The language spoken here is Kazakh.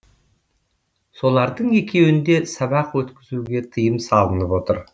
солардың екеуінде сабақ өткізуге тыйым салынып отыр